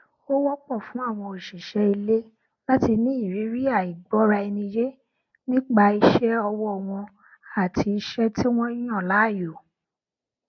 ó wọpọ fún àwọn òṣìṣẹ ilé láti ní ìrírí àìgbọraẹniyé nípa iṣẹ ọwọ wọn àti iṣẹ tí wọn yàn láàyò